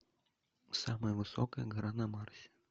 самая высокая гора на марсе